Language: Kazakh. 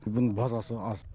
бүгін базасы аз